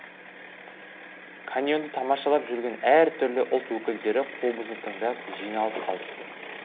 каньонды тамашалап жүрген әр түрлі ұлт өкілдері қобызды тыңдап жиналып қалыпты